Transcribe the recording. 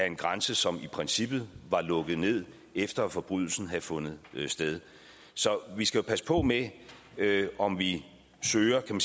en grænse som i princippet var lukket ned efter at forbrydelsen havde fundet sted så vi skal passe på med om vi søger den